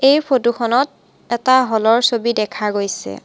এই ফটো খনত এটা হলৰ ছবি দেখা গৈছে।